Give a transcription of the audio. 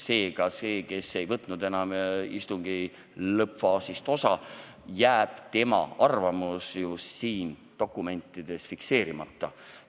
Seega, selle isiku arvamus, kes istungi lõppfaasist enam osa ei võtnud, jääb dokumentides fikseerimata.